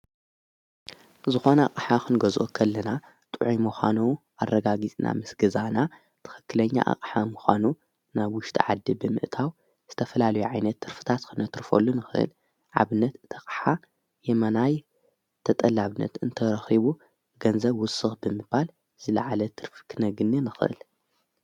ዝኾነ ኣቕሓ ኽንጐዝኦ ኸልና ጥዑይ ምዃኑ ኣረጋጊጽና ምስ ገዛእና ትኸክለኛ ኣቕሓ ምዃኑ ናብ ውሽጢ ዓዲ ብምእታው ዝተፈላሉ ዓይነት ትርፍታት ኽነትርፈሉ ንኽእል። ንኣብነት እታ ኣቕሓ የመና ተጠላብነት እንተረኺቡ ገንዘብ ውሱኽ ብምባል ዝለዓለት ትርፍ ክነግኒ ንኽህል።